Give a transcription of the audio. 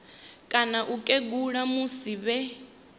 kana u kegula musi vhe